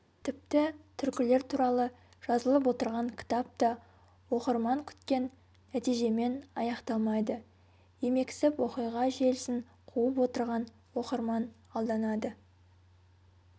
тіпті түркілер туралы жазылып отырған кітап та оқырман күткен нәтижемен аяқталмайды емексіп оқиға желісін қуып отырған оқырман алданады